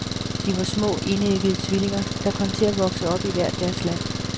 De var små, enæggede tvillinger, der kom til at vokse op i hvert deres land.